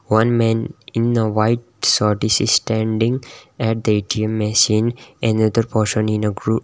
one man in a white t-shirt is standing at the A_T_M machine another person in a .